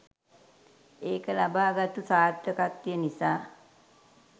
ඒක ලබාගත්තු සාර්ථකත්වය නිසා